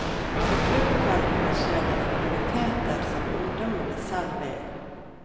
På klubbkvelden skjer det aktiviteter som ungdommene selv vil.